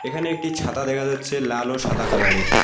এখানে একটি ছাতা দেখা যাচ্ছে লাল ও সাদা কালারের এর।